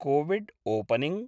कोविड्ओपनिंग्